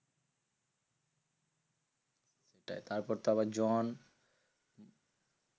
ওটাই তারপর আবার জন